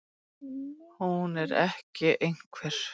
Hún er ekki einhver.